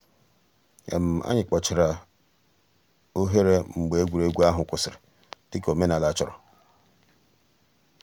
ànyị̀ kpochàrā òghèrè mgbè ègwè́régwụ̀ àhụ̀ kwụsìrì dị̀ka òmènàlà chọ̀rọ̀.